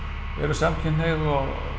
samkynhneigð og